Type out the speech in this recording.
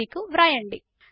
org కు వ్రాయండి